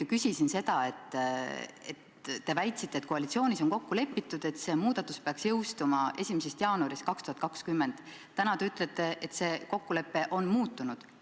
Ma küsisin selle kohta: te väitsite enne, et koalitsioonis on kokku lepitud selle muudatuse jõustumine 1. jaanuarist 2020, aga täna te ütlete, et see kokkulepe on muutunud.